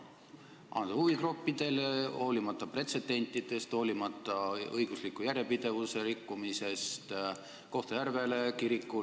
Anda huvigruppidele, hoolimata pretsedendi loomisest, hoolimata õigusliku järjepidevuse rikkumisest, anda Kohtla-Järvele ja kirikule.